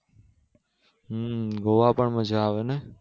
હમ ગોવા પણ મજા આવે નહિ